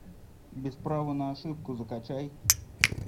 без права на ошибку закачай